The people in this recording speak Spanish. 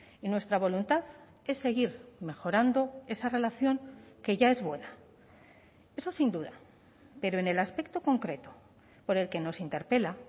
y nuestra voluntad es seguir mejorando esa relación que ya es buena eso sin duda pero en el aspecto concreto por el que nos interpela